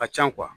Ka ca